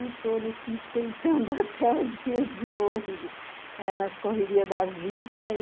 E estou nesse tentando até o dia de hoje, eh nas correrias da vida e